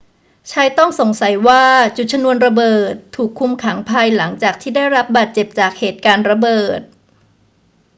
ชายต้องสงสัยว่าจุดชนวนระเบิดถูกคุมขังภายหลังจากที่ได้รับบาดเจ็บจากเหตุการณ์ระเบิด